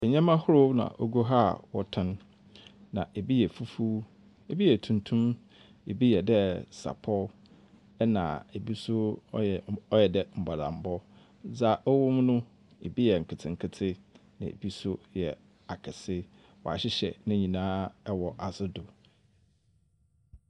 Ndzɛma ahorow na ogu ha a wɔtɔn. Na ebi yɛ fufu, ebi yɛ tuntum, ebi yɛ dɛ sapɔ ɛna ebi nso ɔyɛ mm ɔyɛ dɛ mbɔlambɔ. Dzɛa ɔwom no ebi yɛ nketenkete na ebi nso yɛ akɛse. Wɔahyehyɛ ne nyinaa wɔ asedo.